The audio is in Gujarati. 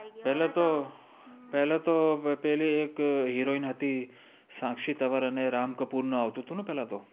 પેલે તો પેલે તો પેલિ એક heroine હતિ સાક્ષી તન્વ્અર અને રામ કપૂર આવ્તુ તુ ન પેહલા તો